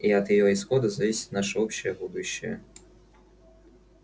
и от её исхода зависит наше общее будущее